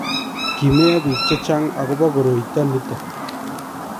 kimeiyo biik che chang akobo koroito nito